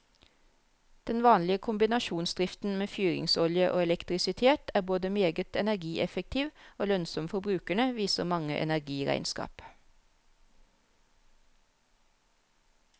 Den vanlige kombinasjonsdriften med fyringsolje og elektrisitet er både meget energieffektiv og lønnsom for brukerne, viser mange energiregnskap.